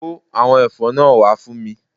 Kó àwọn èfó náà wá fún mi